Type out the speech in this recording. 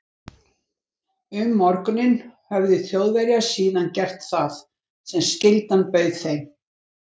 Um morguninn höfðu Þjóðverjar síðan gert það, sem skyldan bauð þeim.